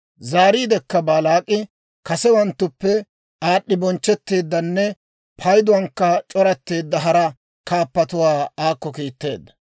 Zaariidekka Baalaak'i kasewanttuppe aad'd'i bonchchetteeddanne payduwaankka c'oratteedda hara kaappatuwaa aakko kiitteedda.